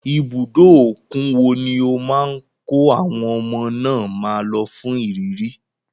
Ibùdó òkun wo ni ó máa kọ́ àwọn ọmọ náà máa lọ fún ìrírí.